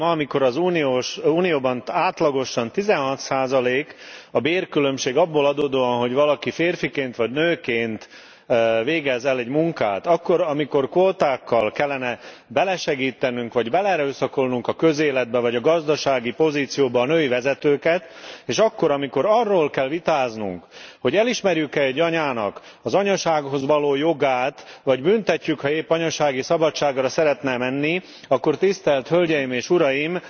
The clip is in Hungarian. Ma, amikor az Unióban átlagosan 16 a bérkülönbség abból adódóan, hogy valaki férfiként vagy nőként végez el egy munkát akkor, amikor kvótákkal kellene belesegítenünk vagy beleerőszakolnunk a közéletbe vagy gazdasági pozícióba a női vezetőket, és akkor, amikor arról kell vitáznunk, hogy elismerjük e egy anyának az anyasághoz való jogát, vagy büntetjük, ha épp anyasági szabadságra szeretne menni, akkor, tisztelt hölgyeim és uraim,